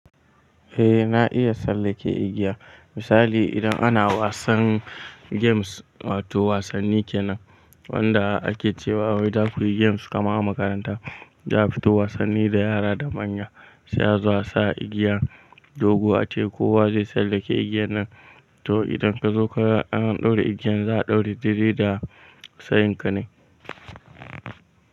Eh na iya tsallake igiya. Misali idan ana wasan games wato wasanni kenan wanda ake cewa wai za ku yi games kama a makaranta za a fito wasanni da yara da manya sai a zo a sa igiyan dogo ace kowa zai tsallake igiyan nan to idan ka zo ka dan ɗaura igiyan za a ɗaura didiri da sayan ka ne.